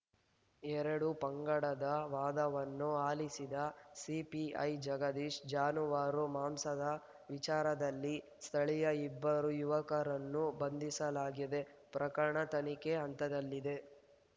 ಎರಡೂ ಪಂಗಡದ ವಾದವನ್ನು ಆಲಿಸಿದ ಸಿಪಿಐ ಜಗದೀಶ್‌ ಜಾನುವಾರು ಮಾಂಸದ ವಿಚಾರದಲ್ಲಿ ಸ್ಥಳೀಯ ಇಬ್ಬರು ಯುವಕರನ್ನು ಬಂಧಿಸಲಾಗಿದೆ ಪ್ರಕರಣ ತನಿಖೆ ಹಂತದಲ್ಲಿದೆ